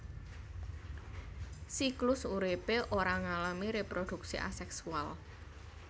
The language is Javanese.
Siklus uripé ora ngalami reproduksi aseksual